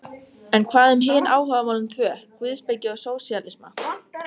En hvað um hin áhugamálin tvö: guðspeki og sósíalisma?